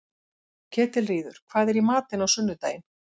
Ketilríður, hvað er í matinn á sunnudaginn?